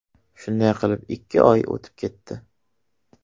Shunday qilib ikki oy o‘tib ketdi.